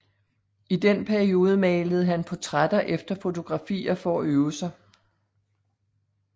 I den periode malede han portrætter efter fotografier for at øve sig